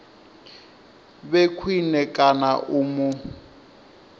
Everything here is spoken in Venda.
vhe khwine kana u mu